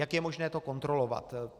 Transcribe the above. Jak je možné to kontrolovat?